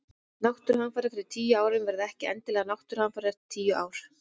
Náttúruhamfarir fyrir tíu árum verða ekki endilega náttúruhamfarir eftir tíu ár.